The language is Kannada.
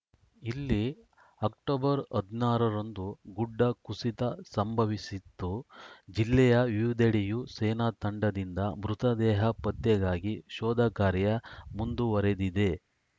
ಇಲ್ಲಿ ಅಕ್ಟೋಬರ್ ಹದಿನಾರ ರಂದು ಗುಡ್ಡ ಕುಸಿತ ಸಂಭವಿಸಿತ್ತು ಜಿಲ್ಲೆಯ ವಿವಿಧೆಡೆಯೂ ಸೇನಾ ತಂಡದಿಂದ ಮೃತದೇಹ ಪತ್ತೆಗಾಗಿ ಶೋಧ ಕಾರ್ಯ ಮುಂದುವರೆದಿದೆ